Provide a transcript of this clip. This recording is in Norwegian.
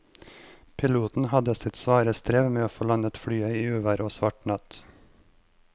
Piloten hadde sitt svare strev med å få landet flyet i uvær og svart natt.